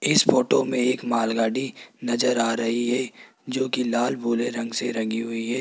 इस फोटो में एक मालगाड़ी नजर आ रही है जो की लाल भूरे रंग से रंगी हुई है।